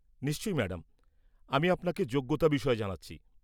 নিশ্চয়ই ম্যাডাম! আমি আপনাকে যোগ্যতা বিষয়ে জানাচ্ছি।